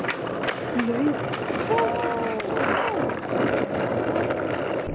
Laufar, hvaða mánaðardagur er í dag?